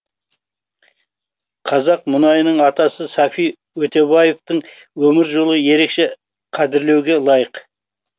қазақ мұнайының атасы сафи өтебаевтың өмір жолы ерекше қадірлеуге лайық